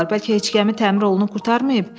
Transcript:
Bəlkə heç gəmi təmir olunub qurtarmayıb?